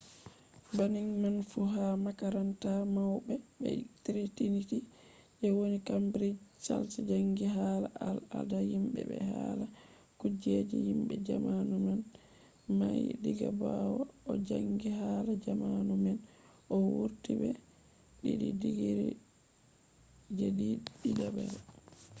banning man fu ha makaranta mauɓe je triniti je woni kambrij chals jangi hala al ada himɓe be hala kujeji himɓe zamanu nane mahi diga ɓawo o janggi hala zamanu naane. o wurti be 2:2 digri je ɗiɗabre